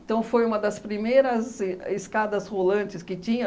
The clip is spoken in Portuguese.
Então, foi uma das primeiras e escadas rolantes que tinha.